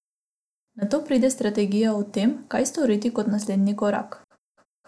Nato pride strategija o tem, kaj storiti kot naslednji korak.